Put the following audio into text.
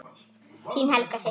Þín Helga systir.